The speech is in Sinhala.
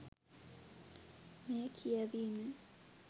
මෙය කියැවීමෙන්